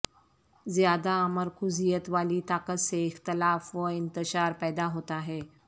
زیادہ مرکوزیت والی طاقت سے اختلاف و انتشار پیدا ہوتا ہے